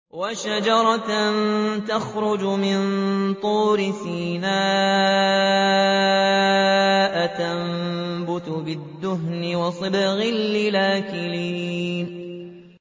وَشَجَرَةً تَخْرُجُ مِن طُورِ سَيْنَاءَ تَنبُتُ بِالدُّهْنِ وَصِبْغٍ لِّلْآكِلِينَ